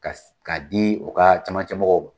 Ka de ka di u ka camancɛ mɔgɔw ma.